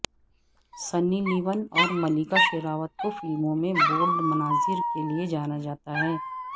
سنی Leone اور ملیکا شیراوت کو فلموں میں بولڈ مناظر کے لیے جانا جاتا ہے